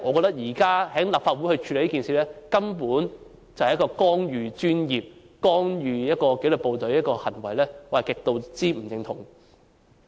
所以，現時在立法會處理這件事，根本是一項干預專業及干預紀律部隊的行為，我極不認同。